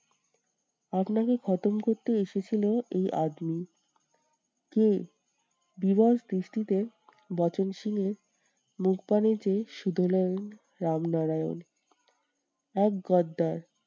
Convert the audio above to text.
আপনাকে করতে এসেছিলো এই কে? বিবাগ দৃষ্টি তে বচনসূরের মুখপানে চেয়ে শুধোলেন রামনারায়ণ। এক গদ্দার